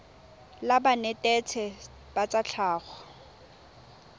la banetetshi ba tsa tlhago